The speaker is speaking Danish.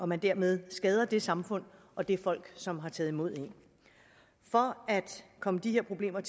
man dermed skader det samfund og det folk som har taget imod en for at komme de her problemer